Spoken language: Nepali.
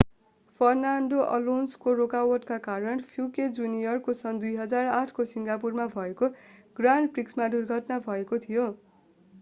फर्नान्डो अलोन्सोको रोकावटका कारण प्युकेट जूनियरको सन् 2008 को सिङ्गापुरमा भएको ग्रान्ड प्रिक्समा दुर्घटना भएको थियो